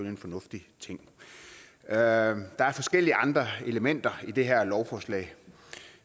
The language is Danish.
en fornuftig ting der er forskellige andre elementer i det her lovforslag